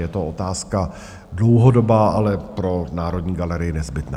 Je to otázka dlouhodobá, ale pro Národní galerii nezbytná.